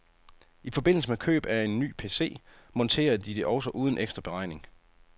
I forbindelse med køb af en ny pc, monterer de det også uden ekstra beregning.